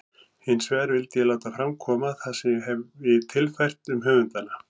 Hinsvegar vildi ég láta fram koma það sem ég hefi tilfært um höfundana.